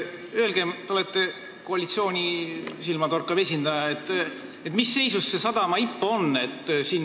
Öelge – te olete koalitsiooni silmapaistev esindaja –, mis seisus see sadama IPO on!